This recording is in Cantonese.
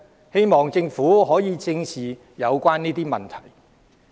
希望政府可以正視此問題。